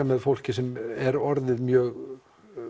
með fólki sem er orðið mjög